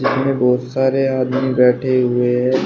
यहां में बहोत सारे आदमी बैठे हुए हैं।